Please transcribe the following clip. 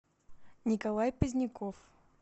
николай поздняков